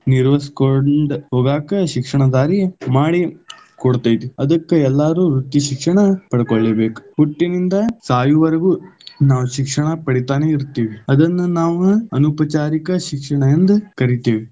ನಿರ್ವಹಿಸ್ಕೊಂಡ್, ಹೋಗಾಕ ಶಿಕ್ಷಣ ದಾರಿ ಮಾಡಿ ಕೊಡುತೈತಿ, ಅದಕ್ಕ ಎಲ್ಲಾರು ವೃತ್ತಿ ಶಿಕ್ಷಣ ಪಡ್ಕೊಳ್ಲೇಬೇಕ, ಹುಟ್ಟಿನಿಂದ ಸಾಯುವವರೆಗೂ, ನಾವು ಶಿಕ್ಷಣ ಪಡಿತಾನೇ ಇರ್ತೀವಿ. ಅದನ್ನ ನಾವು ಅನೌಪಚಾರಿಕ ಶಿಕ್ಷಣ ಎಂದ ಕರಿತೀವಿ.